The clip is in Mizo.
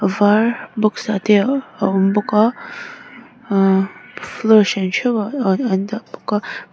var box ah te a awm bawk a aaa floor hran theuhah aa an dah bawk a.